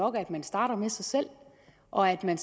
at man starter med sig selv og at man